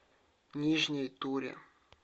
нижней туре